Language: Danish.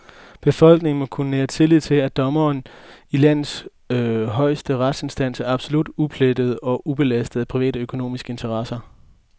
Befolkningen må kunne nære tillid til, at dommerne i landets højeste retsinstans er absolut uplettede og ubelastede af private økonomiske interesser.